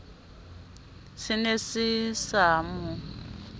se ne se sa mo